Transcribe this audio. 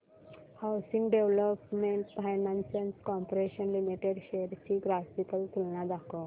housing development finance corporation limited shares ची graphical तुलना दाखव